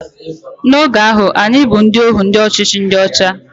N'oge ahụ, anyị bụ ohu ndị ọchịchị ndị ọcha